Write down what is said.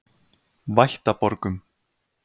Vættaborgum